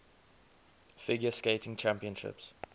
figure skating championships